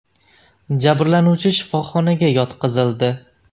Jabrlanuvchi shifoxonaga yotqizildi.